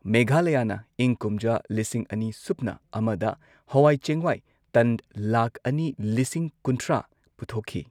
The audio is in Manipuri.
ꯃꯦꯘꯥꯂꯌꯥꯅ ꯏꯪ ꯀꯨꯝꯖꯥ ꯂꯤꯁꯤꯡ ꯑꯅꯤ ꯁꯨꯞꯅ ꯑꯃꯗ ꯍꯋꯥꯏ ꯆꯦꯡꯋꯥꯏ ꯇꯟ ꯂꯥꯈ ꯑꯅꯤ ꯂꯤꯁꯤꯡ ꯀꯨꯟꯊ꯭ꯔꯥ ꯄꯨꯊꯣꯛꯈꯤ꯫